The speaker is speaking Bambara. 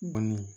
Bɔnni